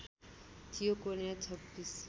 थियो कोर्नर २६